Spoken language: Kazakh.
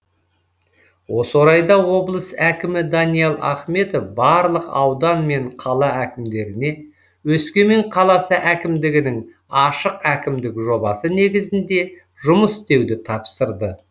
осы орайда облыс әкімі даниал ахметов барлық аудан мен қала әкімдеріне өскемен қаласы әкімдігінің ашық әкімдік жобасы негізінде жұмыс істеуді тапсырды